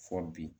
Fɔ bi